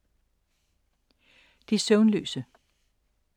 De søvnløse